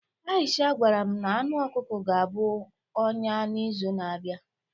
Aisha gwara m na anụ ọkụkọ ga-abụ ọnya n'izu na-abịa